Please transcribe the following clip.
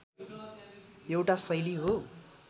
एउटा शैली हो